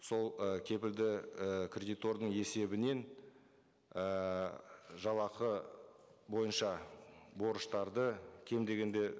сол ы кепілді і кредитордың есебінен ііі жалақы бойынша борыштарды кем дегенде